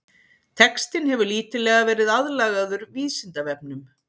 Textinn hefur lítillega verið aðlagaður Vísindavefnum.